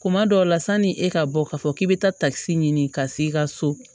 Kuma dɔw la sanni e ka bɔ k'a fɔ k'i be taa takisi ɲini ka s'i ka so